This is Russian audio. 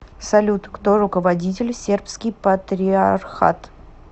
салют кто руководитель сербский патриархат